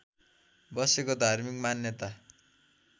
बसेको धार्मिक मान्यता